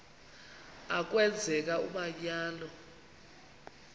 a kwenzeka umanyano